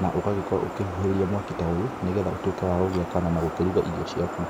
na ũgakorwo ũkĩrowo ũkĩhũhĩraria mwaki ta ũyũ nĩgetha ũtuĩke wagũgĩakana na gũkĩruga irio ciaku.